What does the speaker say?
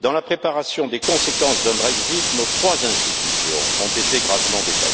dans la préparation des conséquences d'un Brexit, nos trois institutions ont été gravement défaillantes.